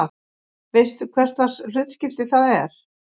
Veistu hverslags hlutskipti það er?